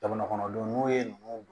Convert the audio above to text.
Jamana kɔnɔdenw n'u ye ninnu